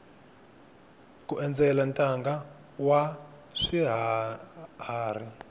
ku endzela ntanga wa swiharhi